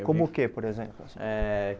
Como o quê, por exemplo assim? Eh